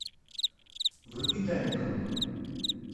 вруби тайный круг